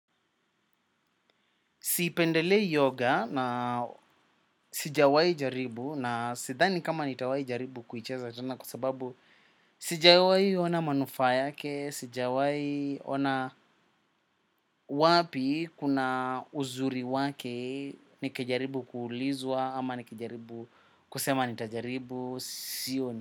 Sipendelei yoga na sijawai jaribu na sithani kama nitawahi jaribu kuicheza tena kwa sebabu sijawai ona manufaa yake, sijawai ona wapi kuna uzuri wake, nikijaribu kuulizwa ama nikijaribu kusema nitajaribu, sioni.